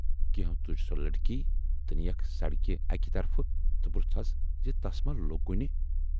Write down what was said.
کینہو تُج سۅ لڑکی تہٕ نی یکھ سڑکہِ اکہِ طرفہٕ تہٕ پرژھہوس زِ تس ما لوگ کُنہِ۔